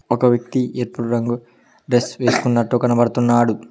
ఒక వ్యక్తి ఎరుపు రంగు డ్రెస్ వేసుకున్నట్టు కనబడుతున్నాడు